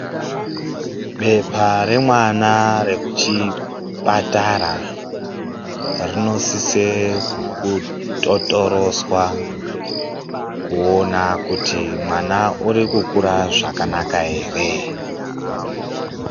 Bepa remwana rekuchipatara rinosise kutotoroswa kuone kuti, mwana urikukure zvakanaka here.